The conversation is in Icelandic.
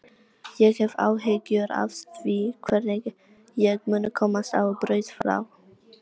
Ég hef áhyggjur af því hvernig ég muni komast á braut frá